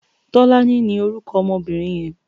Tolani ni órúkò òmò óbìrín yèn